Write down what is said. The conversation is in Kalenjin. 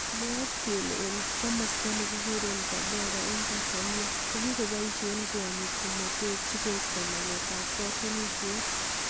Mwaat kele eng kimasta nekikure tabora eng tanzania kokikoboishe kwonyik tomotet sikoisto maket ab katunishet.